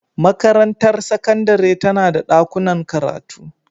Makarantar sakandare tana da dakunan karatu.